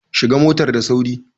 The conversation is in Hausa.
Shiga motar da sauri!